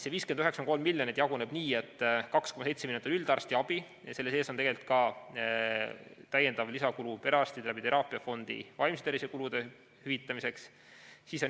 See 59,3 miljonit jaguneb nii, et 2,7 miljonit on üldarstiabile, selle sees on ka raha perearstidele teraapiafondi kaudu vaimse tervise kulude hüvitamiseks.